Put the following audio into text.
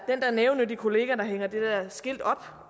der nævenyttige kollega der hænger det der skilt op